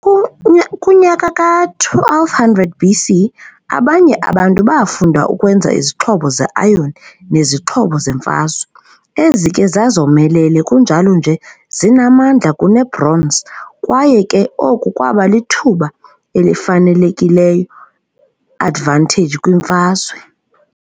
Kunyaka ka-1200 BC abanye abantu baafunda ukwenza izixhobo ze-iron nezixhobo zemfazwe. Ezi ke zazomelele kunjalo nje zinamandla kune-bronze kwaye ke oku kwaba lithuba elifanelekileyo advantage kwimfazwe.